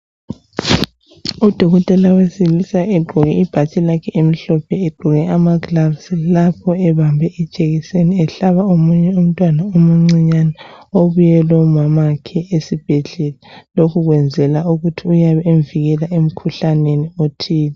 Odokotela osebenzaa egqoke ibhatshi lakhe elimhlophe egqoke amagilavisi lapho ehlaba munye umntwana omuncinyane ibuye lomama wakhe esibhedlela Lokhu kwenzelwa ukuthi avikelwe emkhuhlaneni othile.